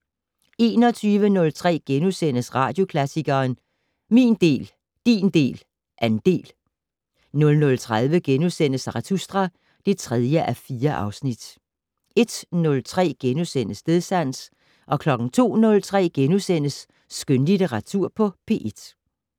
21:03: Radioklassikeren: Min del, din del, andel * 00:30: Zarathustra (3:4)* 01:03: Stedsans * 02:03: Skønlitteratur på P1 *